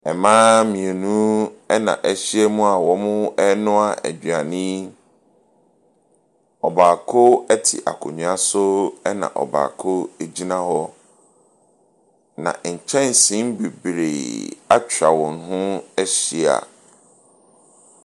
Mmaa mmienu na ahyiam a wɔrenoa aduane. Ɔbaako te akonnwa so. Ɛna ɔbaako gyina hɔ. Na nkyɛnsee bebree atwa wɔn ho ahyia.